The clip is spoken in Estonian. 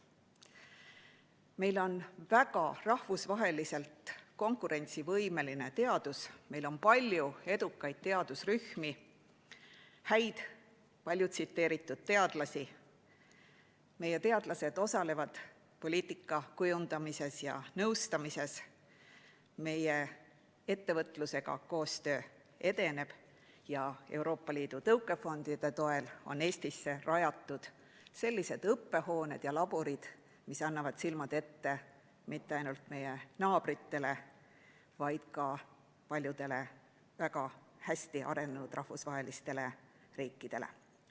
Meil on rahvusvaheliselt väga konkurentsivõimeline teadus, meil on palju edukaid teadusrühmi, häid palju tsiteeritud teadlasi, meie teadlased osalevad poliitika kujundamises ja nõustamises, koostöö meie ettevõtlusega edeneb ja Euroopa Liidu tõukefondide toel on Eestisse rajatud sellised õppehooned ja laborid, mis annavad silmad ette mitte ainult meie naabritele, vaid ka paljudele väga hästi arenenud riikidele.